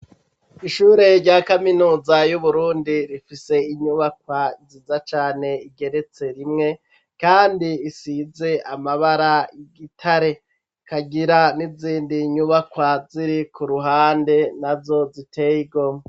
Ishure rya kaminuza y'uburundi rifise inyubakwa ziza cane, igeretse rimwe kandi isize amabara y'igitare, ikagira n'izindi nyubakwa ziri ku ruhande nazo ziteyigomwe.